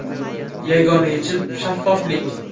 Yagona yechim shaffoflik.